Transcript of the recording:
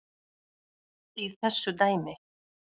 í þessu dæmi.